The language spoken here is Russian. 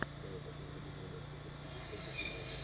давай посмотрим игру манчестер сити против юнайтед